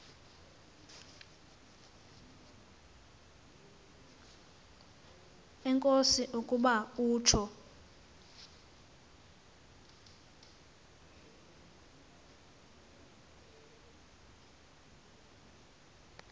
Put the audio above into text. enkosi ukuba utsho